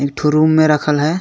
एक ठो रूम में राखल है।